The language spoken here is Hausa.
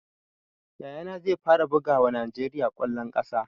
Yaya na zai fara bugawa najeriya kwallon kasa